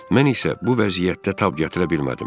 Mən isə bu vəziyyətə tab gətirə bilmədim.